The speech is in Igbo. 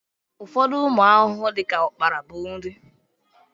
Ụfọdụ ụmụ ahụhụ dịka ukpara bụ nri